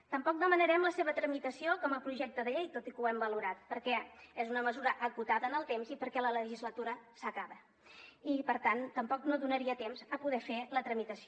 tampoc demanarem la seva tramitació com a projecte de llei tot i que ho hem valorat perquè és una mesura acotada en el temps i perquè la legislatura s’acaba i per tant tampoc no donaria temps a poder fer la tramitació